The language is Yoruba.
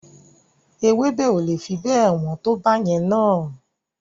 Ewébẹ̀ o le fi bẹ́ẹ̀ wọ́n tó báyẹn na.